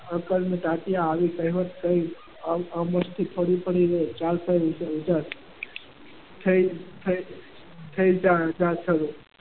આવી કહેવત કઈ